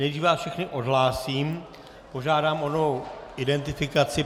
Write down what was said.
Nejdřív vás všechny odhlásím, požádám o novou identifikaci.